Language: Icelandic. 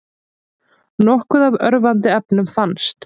Nokkuð af örvandi efnum fannst